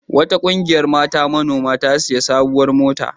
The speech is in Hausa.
Wata ƙungiyar mata manoma ta sayi sabuwar mota.